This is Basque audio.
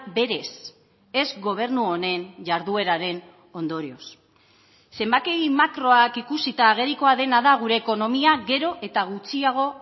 berez ez gobernu honen jardueraren ondorioz zenbaki makroak ikusita agerikoa dena da gure ekonomia gero eta gutxiago